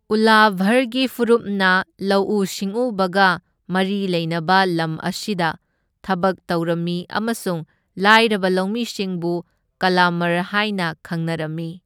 ꯎꯂꯚꯔꯒꯤ ꯐꯨꯔꯨꯞꯅ ꯂꯧꯎ ꯁꯤꯡꯎꯕꯒ ꯃꯔꯤ ꯂꯩꯅꯕ ꯂꯝ ꯑꯁꯤꯗ ꯊꯕꯛ ꯇꯧꯔꯝꯃꯤ ꯑꯃꯁꯨꯡ ꯂꯥꯏꯔꯕ ꯂꯧꯃꯤꯁꯤꯡꯕꯨ ꯀꯂꯃꯔ ꯍꯥꯏꯅ ꯈꯪꯅꯔꯝꯃꯤ꯫